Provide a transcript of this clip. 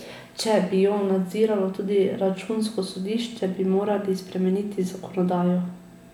Če bi jo nadziralo tudi računsko sodišče, bi morali spremeniti zakonodajo.